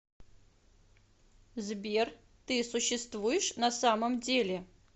сбер ты существуешь на самом деле